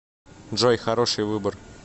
джой хороший выбор